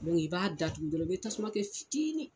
i b'a datugu dɔrɔn i bɛ tasuma kɛ fitini.